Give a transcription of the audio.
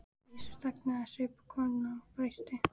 Gissur þagnaði, saup af könnunni og dæsti.